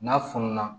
N'a fununa